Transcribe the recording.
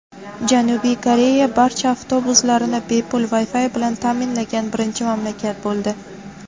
Janubiy Koreya barcha avtobuslarini bepul Wi-Fi bilan ta’minlagan birinchi mamlakat bo‘ldi.